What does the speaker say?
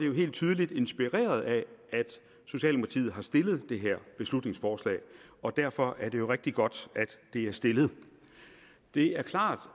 jo helt tydeligt inspireret af at socialdemokratiet har stillet det her beslutningsforslag og derfor er det jo rigtig godt at det er stillet det er klart